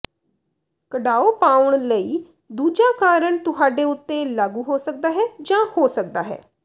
ਕੜਾਓ ਪਾਉਣ ਲਈ ਦੂਜਾ ਕਾਰਣ ਤੁਹਾਡੇ ਉੱਤੇ ਲਾਗੂ ਹੋ ਸਕਦਾ ਹੈ ਜਾਂ ਹੋ ਸਕਦਾ ਹੈ